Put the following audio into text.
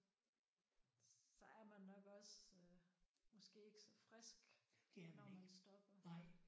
Så er man nok også måske ikke så frisk når man stopper